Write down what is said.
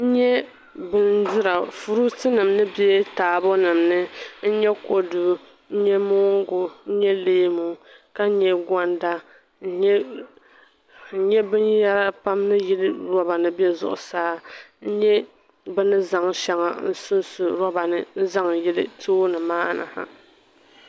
N nya bindira furuutinima ni be taabonima ni. N nya kɔdu n nya mooŋgu n nya leemu ka nya gɔnda n nya binyɛra pam ni yili loba ni m-be zuɣusaa n nya bɛ ni zaŋ shɛŋa n-sunsu loba ni n-zaŋ yili tooni maa ni ha.